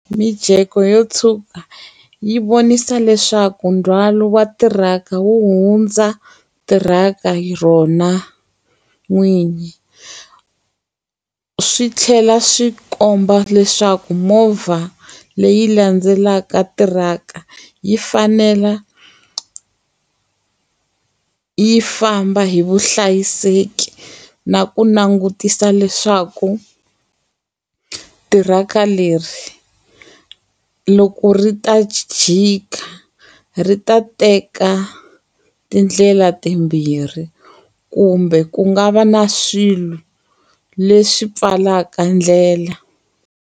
Mijeko yo tshuka, yi vonisa leswaku ndzhwalo wa tiraka wu hundza tiraka hi rona n'winyi. Swi tlhela swi komba leswaku movha leyi landzelaka tiraka, yi fanela yi famba hi vuhlayiseki na ku langutisa leswaku tiraka leri loko ri ta ji jika, ri ta teka tindlela timbirhi kumbe ku nga va na swilo leswi pfalaka ndlela.